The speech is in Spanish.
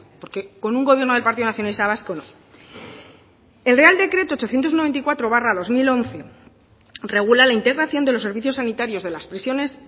porque con un gobierno del partido nacionalista vasco no el real decreto ochocientos noventa y cuatro barra dos mil once regula la integración de los servicios sanitarios de las prisiones